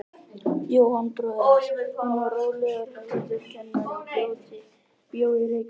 Jóhann bróðir hans, hann var rólegur, hæglátur kennari og bjó í Reykjavík.